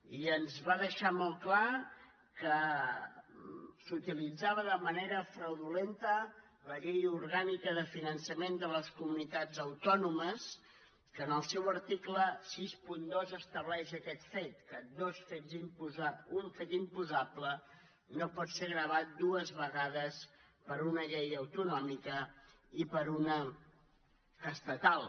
i ens va deixar molt clar que s’utilitzava de manera fraudulenta la llei orgànica de finançament de les comunitats autònomes que en el seu article seixanta dos estableix aquest fet que un fet imposable no pot ser gravat dues vegades per una llei autonòmica i per una estatal